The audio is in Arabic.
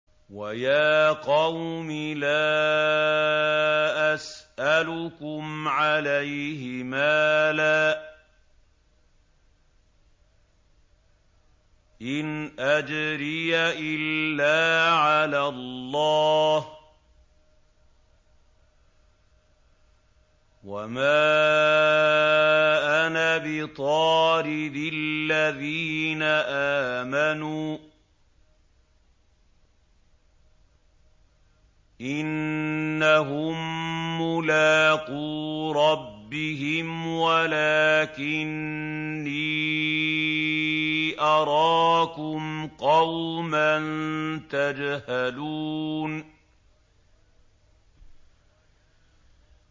وَيَا قَوْمِ لَا أَسْأَلُكُمْ عَلَيْهِ مَالًا ۖ إِنْ أَجْرِيَ إِلَّا عَلَى اللَّهِ ۚ وَمَا أَنَا بِطَارِدِ الَّذِينَ آمَنُوا ۚ إِنَّهُم مُّلَاقُو رَبِّهِمْ وَلَٰكِنِّي أَرَاكُمْ قَوْمًا تَجْهَلُونَ